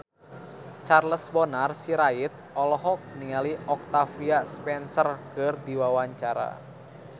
Charles Bonar Sirait olohok ningali Octavia Spencer keur diwawancara